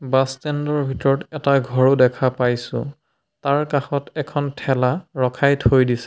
Bus ষ্টেণ্ডৰ ভিতৰত এটা ঘৰও দেখা পাইছো তাৰ কাষত এখন ঠেলা ৰখাই থৈ দিছে।